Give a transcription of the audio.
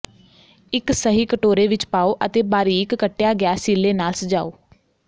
ਇੱਕ ਸਹੀ ਕਟੋਰੇ ਵਿੱਚ ਪਾਉ ਅਤੇ ਬਾਰੀਕ ਕੱਟਿਆ ਗਿਆ ਸੀਲੇ ਨਾਲ ਸਜਾਓ